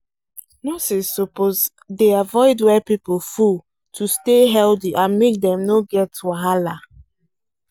nurses suppose dey avoid where people full to stay healthy and make dem no get wahala